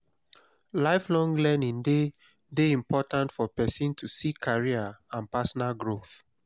lifelong learning de de important for persin to see career and personal growth